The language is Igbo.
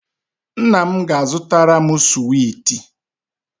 Nna m ga-zụtara m suweti